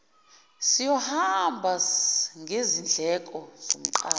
siyohamba ngezindleko zomqashi